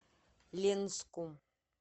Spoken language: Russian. ленску